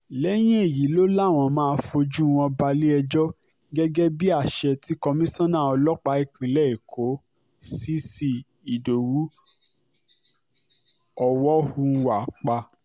lẹ́yìn èyí ló làwọn máa fojú wọn balẹ̀-ẹjọ́ gẹ́gẹ́ bíi àṣẹ tí komisanna ọlọ́pàá ìpínlẹ̀ èkó cc ìdowu ọ̀wọ̀húnwá pa